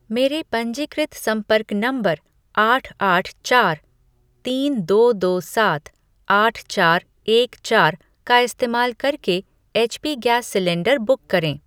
मेरे पंजीकृत संपर्क नंबर आठ आठ चार तीन दो दो सात आठ चार एक चार का इस्तेमाल करके एचपी गैस सिलेंडर बुक करें।